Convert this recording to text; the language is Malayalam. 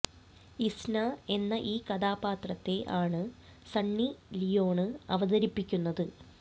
ഇസ്ന എന്ന ഈ കഥാപാത്രത്തെ ആണ് സണ്ണി ലിയോണ് അവതരിപ്പിക്കുന്നത്